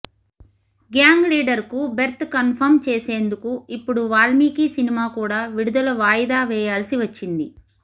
gang లీడర్కు berth confirm చేసేందుకు ఇప్పుడు వాల్మీకి సినిమా కూడా విడుదల వాయిదా వేయాల్సి వచ్చింది